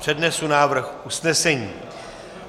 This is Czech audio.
Přednesu návrh usnesení.